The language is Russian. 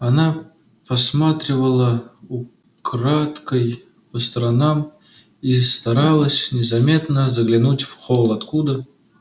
она посматривала украдкой по сторонам и старалась незаметно заглянуть в холл откуда